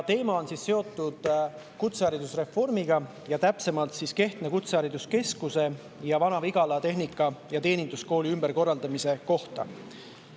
Teema on seotud kutseharidusreformiga, täpsemalt Kehtna Kutsehariduskeskuse ning Vana-Vigala Tehnika‑ ja Teeninduskooli ümberkorraldamisega.